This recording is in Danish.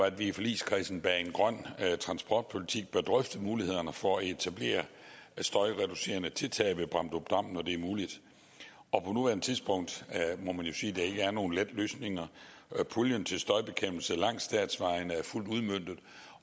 at vi i forligskredsen bag en grøn transportpolitik bør drøfte mulighederne for at etablere støjreducerende tiltag ved bramdrupdam når det er muligt og på nuværende tidspunkt må man jo sige er nogen lette løsninger puljen til støjbekæmpelse langs statsvejene er fuldt udmøntet